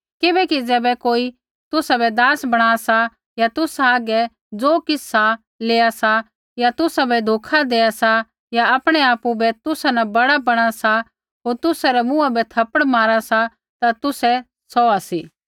किबैकि ज़ैबै कोई तुसाबै दास बणा सा या तुसा हागै ज़ो किछ़ सा लेया सा या तुसाबै धोखा देआ सा या आपणै आपु बै तुसा न बड़ा बणा सा होर तुसै रै मुँहा बै थप्पड़ मारा सा ता तुसै सौहा सी